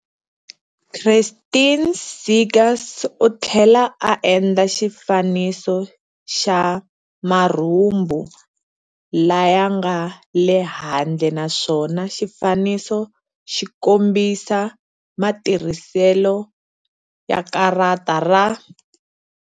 Christine Seegers u tlhela a endla xifaniso xa marhumbu laya nga le handle naswona xifaniso xi kombisa matirhiselo ya karata ra.